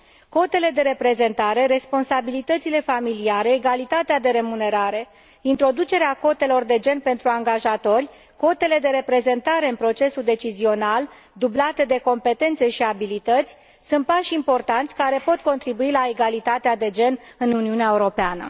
Cotele de reprezentare, responsabilitățile familiale, egalitatea de remunerare, introducerea cotelor de gen pentru angajatori, cotele de reprezentare în procesul decizional, dublate de competențe și abilități, sunt pași importanți, care pot contribui la egalitatea de gen în Uniunea Europeană.